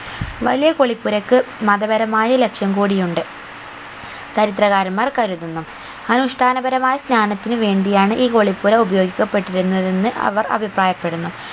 വലിയ കുളിപ്പുരക്ക് മതപരമായ ലക്ഷ്യം കൂടി ഉണ്ട് ചരിത്രകാരൻമാർ കരുതുന്നു അനുഷ്ട്ടാനപരമായ ജ്ഞാനത്തിനു വേണ്ടിയാണ് ഈ കുളിപ്പുര ഉപയോഗിക്ക പെട്ടിരുന്നതെന്ന് അവർ അഭിപ്രായപ്പെടുന്നു